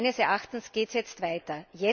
Meines Erachtens geht es jetzt weiter.